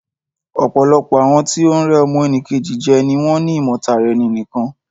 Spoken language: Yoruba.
Ọ̀pọ̀lọpọ̀ àwọn tí o ń rẹ́ ọmọ nì Kejì jẹ ni wọ́n ni ìmọ̀ tara ẹni nìkan.